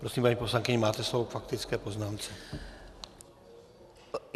Prosím, paní poslankyně, máte slovo k faktické poznámce.